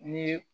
Ni